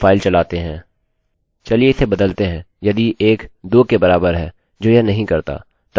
चलिए इसे बदलते हैं यदि 1 2 के बराबर है जो यह नहीं करता तब हमें गलत प्राप्त होगा